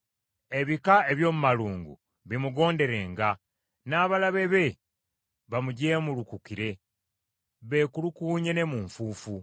Ebika eby’omu malungu bimugonderenga, n’abalabe be bamujeemulukukire beekulukuunye ne mu nfuufu.